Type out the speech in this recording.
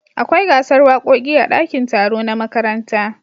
Akwai gasar wakoki a dakin taro na makaranta